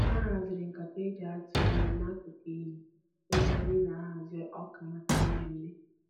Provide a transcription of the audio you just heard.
Ha haziri nkata e ji atụ ihe n'akụkụ iyi ebe anyị na-ahụ ọka maka mmemme